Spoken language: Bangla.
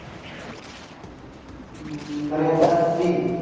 উম মানে তার স্ত্রী